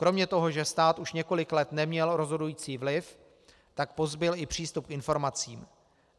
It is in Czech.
Kromě toho, že stát už několik let neměl rozhodující vliv, tak pozbyl i přístup k informacím.